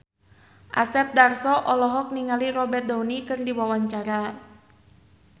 Asep Darso olohok ningali Robert Downey keur diwawancara